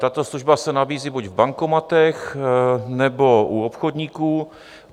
Tato služba se nabízí buď v bankomatech, nebo u obchodníků.